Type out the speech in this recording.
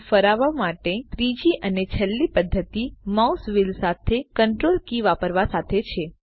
view ફરાવવા માટેની ત્રીજી અને છેલ્લી પદ્ધતિ માઉસ વ્હીલ સાથે Ctrl કી વાપરવા સાથે છે